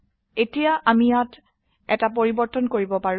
এতিয়া আমি ইয়াত এটা পৰিবৰ্তন কৰিব পাৰো